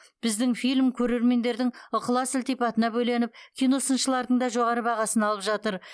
біздің фильм көрермендердің ықылас ілтипатына бөленіп киносыншылардың да жоғары бағасын алып жатыр